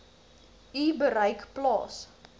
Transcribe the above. u bereik plaas